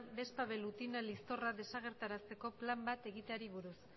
vespa velutina liztorra desagerrarazteko plan bat egiteari buruz